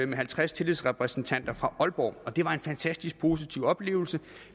med halvtreds tillidsrepræsentanter fra aalborg det var en fantastisk positiv oplevelse